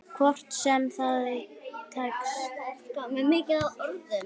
Hvort sem það svo tekst.